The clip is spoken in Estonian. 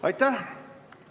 Aitäh!